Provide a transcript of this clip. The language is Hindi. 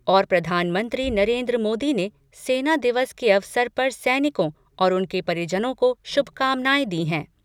और प्रधानमंत्री नरेन्द्र मोदी ने सेना दिवस के अवसर पर सैनिकों और उनके परिजनों को शुभकामनाएं दी हैं।